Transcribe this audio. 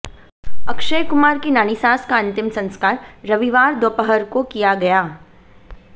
अक्षय कुमार की नानी सास का अंतिम संस्कार रविवार दोपहर को किया गया